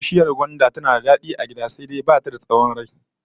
Bishiyar gwanda tana da dadi a gida, sai dai ba ta da tsawon rai